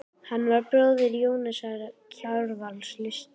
Hann var bróðir Jóhannesar Kjarvals, listmálara.